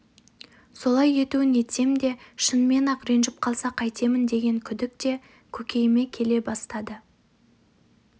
солай етуін етсем де шынымен-ақ ренжіп қалса қайтемін деген күдік те көкейіме келе бастады